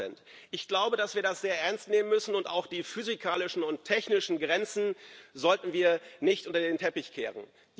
20 Ich glaube, dass wir das sehr ernst nehmen müssen, und auch die physikalischen und technischen Grenzen sollten wir nicht unter den Teppich kehren.